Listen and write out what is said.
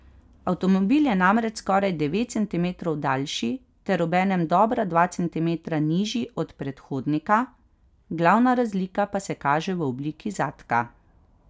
Avtomobil je namreč skoraj devet centimetrov daljši ter obenem dobra dva centimetra nižji od predhodnika, glavna razlika pa se kaže v obliki zadka.